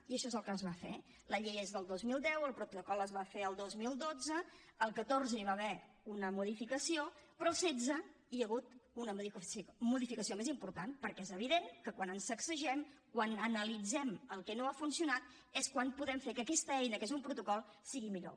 i això és el que es va fer la llei és del dos mil deu el protocol es va fer el dos mil dotze al catorze hi va haver una modificació però al setze hi ha hagut una modificació més important perquè és evident que quan ens sacsegem quan analitzem el que no ha funcionat és quan podem fer que aquesta eina que és un protocol sigui millor